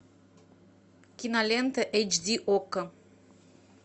кинолента эйч ди окко